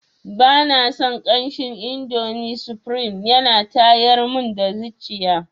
Bana son kamshin indomi sufrim yana tayar mun da zuciya.